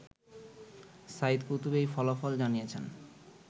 Saeed Qutb এই ফলাফল জানিয়েছেন